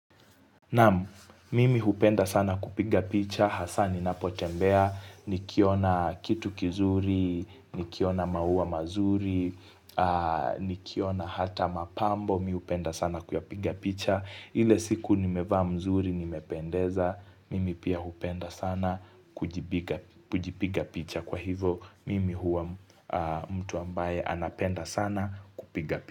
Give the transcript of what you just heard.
Naam, mimi hupenda sana kupiga picha, hasa ninapo tembea, ni kiona kitu kizuri, ni kiona maua mazuri, ni kiona hata mapambo, mi hupenda sana kuyapiga picha, ile siku ni mevaa mzuri nimependeza, mimi pia hupenda sana kujipiga picha kwa hivo, mimi huwa mtu ambaye anapenda sana kupiga picha.